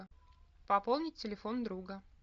пополнить телефон друга